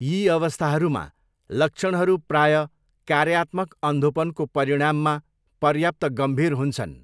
यी अवस्थाहरूमा, लक्षणहरू प्रायः कार्यात्मक अन्धोपनको परिणाममा पर्याप्त गम्भीर हुन्छन्।